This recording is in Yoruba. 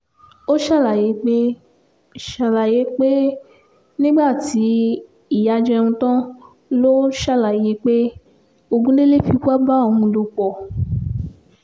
ó ṣàlàyé pé ṣàlàyé pé nígbà tí ìyá jẹun tán ló ṣàlàyé pé ogundẹ̀lè fipá bá òun lò pọ̀